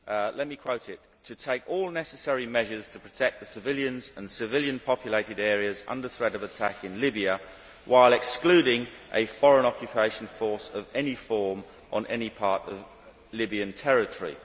Let me quote it To take all necessary measures to protect the civilians and civilian populated areas under threat of attack in Libya, while excluding a foreign occupation force of any form on any part of Libyan territory'.